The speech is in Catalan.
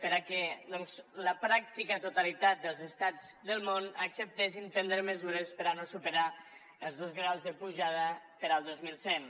per a què la pràctica totalitat dels estats del món acceptessin prendre mesures per a no superar els dos graus de pujada per al dos mil cent